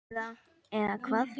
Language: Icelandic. Eða, eða hvað?